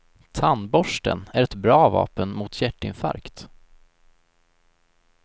Tandborsten är ett bra vapen mot hjärtinfarkt.